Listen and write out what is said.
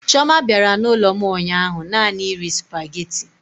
Chioma bịara n'ụlọ m ụnyaahụ naanị iri sụpaghetị.